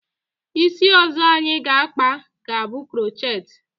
Isi ọzọ anyị ga akpa, ga bụ krochet